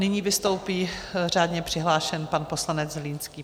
Nyní vystoupí řádně přihlášený pan poslanec Zlínský.